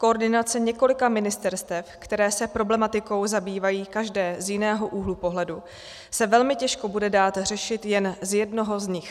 Koordinace několika ministerstev, která se problematikou zabývají každé z jiného úhlu pohledu, se velmi těžko bude dát řešit jen z jednoho z nich.